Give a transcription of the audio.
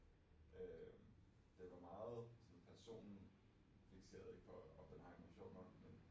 Øh den var meget sådan personfikseret ikk på Oppenheimer sjovt nok men